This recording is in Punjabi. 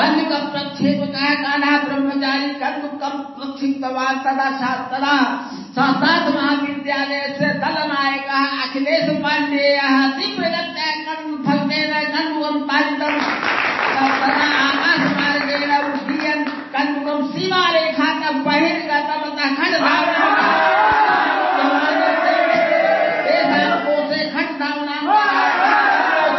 sound clip cricket commentary